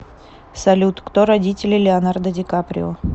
салют кто родители леонардо ди каприо